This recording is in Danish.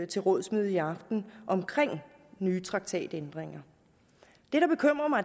til rådsmøde i aften om nye traktatændringer